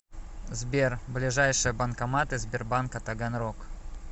сбер ближайшие банкоматы сбербанка таганрог